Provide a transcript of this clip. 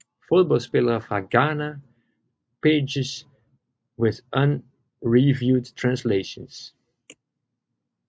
Fodboldspillere fra Ghana Pages with unreviewed translations